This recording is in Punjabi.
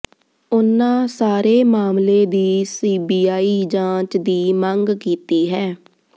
ਉਨ੍ਹਾਂ ਸਾਰੇ ਮਾਮਲੇ ਦੀ ਸੀਬੀਆਈ ਜਾਂਚ ਦੀ ਮੰਗ ਕੀਤੀ ਹੈ